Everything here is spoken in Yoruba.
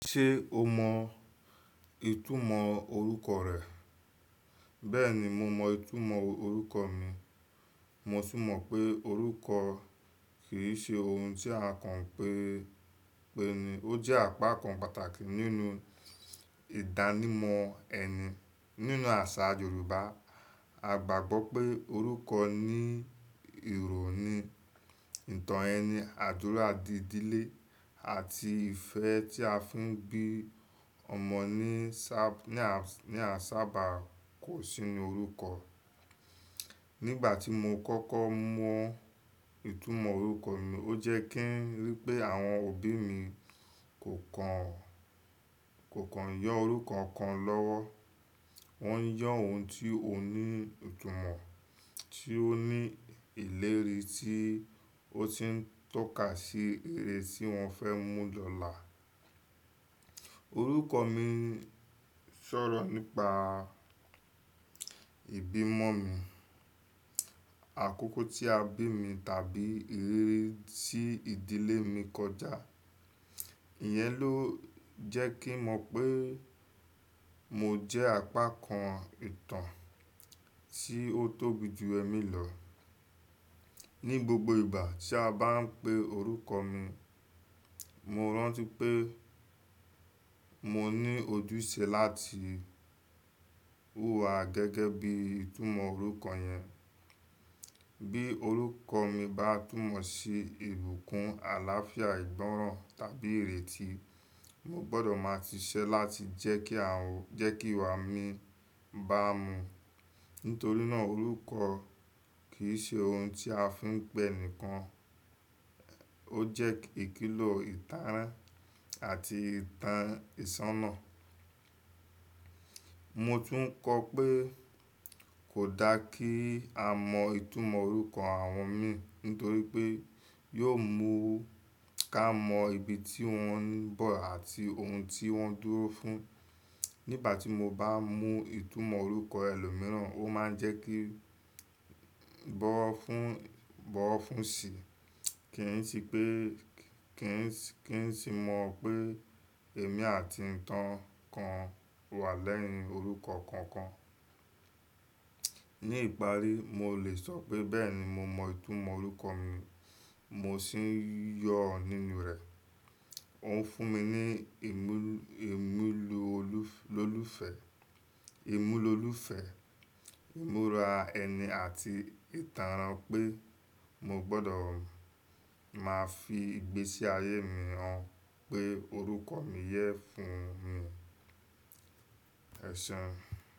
Ṣé o mọ ìtumọ̀ orúkọ rẹ? Bẹ́ẹ̀ni, mo mọ ìtumọ̀ orúkọ mi. Mo sì mọ̀ pé orúkọ kì í ṣe ohun tí a kàn ń pe ni, ó jẹ́ apá kan pàtàkì nínú ìdánimọ̀ ẹni. Nínú àṣà Yorùbá, a gbàgbọ́ pé orúkọ ní ìròni, ìtàn ẹni, àdúrà di ìdílé àti ìfẹ́ tí a fi ń bí ọmọ ní a, ní a sábà kò sí inú orúkọ. Nígbà tí mo kọ́kọ́ mọ ìtumọ̀ orúkọ mi, ó jẹ́ kí ń rí pé àwọn òbí mi kò kan, kò kan yọ orúkọ kan lọ́wọ́. Wọ́n ń yọ ohun tí ó ní ìtumọ̀, tí ó ní ìlérí tí ó ti ń tọ́ka sí ère tí wọ́n fẹ́ mú lọ́la. Orúkọ mi sọ̀rọ̀ nípa ìbímọ mi, àkókò tí a bí mi tàbí ìrírí tí ìdílé mi kọjá. Ìyẹn ló jẹ́ kí mo mọ̀ pé mo jẹ́ apá kan ìtàn tí ó tóbi ju ẹmí lọ. Ni gbogbo ìgbà tí a bá ń pe orúkọ mi, mo rántí pé mo ní ojúṣe láti hùwà gẹ́gẹ́ bí ìtumọ̀ orúkọ yẹn. Bí orúkọ mi bá túmọ̀ sí ìbùkún, àlàáfíà, ìgbọ́ràn tàbí ìrètí, mo gbọdọ̀ máa ti ṣẹ́ láti jẹ́ kí a, jẹ́ kí ìwà mi bá mu. Nítorí náà orúkọ kì í ṣe ohun tí a fi ń pẹ́ nìkan, ó jẹ́ ìkìlò ìtánràn àti ìtàn ìṣáná. Mo tún kọ pé kò da kí a mọ ìtumọ̀ orúkọ àwọn mi nítorí pé yóò mú ká mọ ibi tí wọ́n ń bọ̀ àti ohun tí wọ́n dúró fún. Nígbà tí mo bá mọ ìtumọ̀ orúkọ ẹlòmíràn, ó máa ń jẹ́ kí bọ́ọ́fún, bọ́ọ̀fún sì. Kì í sì pé, kì í sì, kì í sì mọ̀ pé èmi àti ìtàn kan wà lẹ́yìn orúkọ kankan. Ni ìparí, mo lè sọ pé bẹ́ẹ̀ni mo mọ ìtumọ̀ orúkọ mi, mo sì ń yọ nínú rẹ̀. Òun fún mi ní ìmú, ìmúlu olú, lólúfẹ́, ìmúlu olúfẹ́, ìmúra ẹni àti ìtànran pé mo gbọdọ̀ máa fi gbé sí ayé mi han pé orúkọ mi yẹ fun mi. Ẹ̀sẹ̀un.